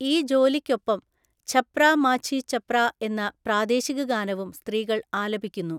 ഈ ജോലിയ്ക്കൊപ്പം ഛപ്രാ മാഝി ഛപ്രാ എന്ന പ്രാദേശിക ഗാനവും സ്ത്രീകള് ആലപിക്കുന്നു.